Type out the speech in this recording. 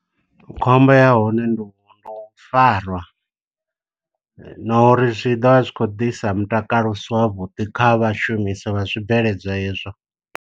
Khombo ya hone ndi u ndi u farwa, na uri zwi ḓovha zwi khou ḓisa mutakalo usi wavhuḓi kha vhashumisa vha zwibveledzwa ezwo.